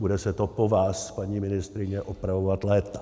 Bude se to po vás, paní ministryně, opravovat léta.